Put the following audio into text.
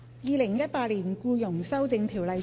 《2018年僱傭條例草案》。